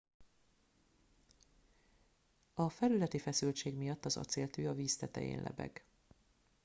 a felületi feszültség miatt az acéltű a víz tetején lebeg